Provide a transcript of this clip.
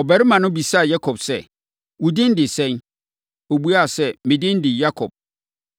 Ɔbarima no bisaa Yakob sɛ, “Wo din de sɛn?” Ɔbuaa sɛ, “Me din de Yakob.”